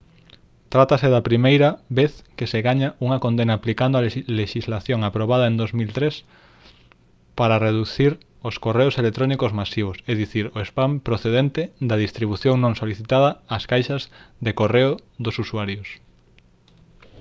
trátase da primeira vez que se gaña unha condena aplicando a lexislación aprobada en 2003 para reducir os correos electrónicos masivos é dicir o spam procedente da distribución non solicitada ás caixas de correo dos usuarios